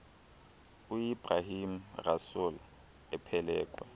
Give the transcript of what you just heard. uebrahim rasool ephelekwe